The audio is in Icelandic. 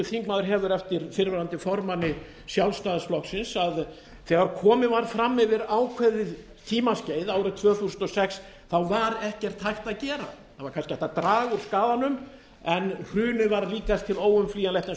þingmaður hefur eftir fyrrverandi formanni sjálfstæðisflokksins að þegar komið var fram yfir ákveðið tímaskeið árið tvö þúsund og sex var ekkert hægt að gera það var kannski hægt að draga úr skaðanum en hrunið var líkast til óumflýjanlegt eins